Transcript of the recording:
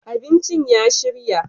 abincin ya shirya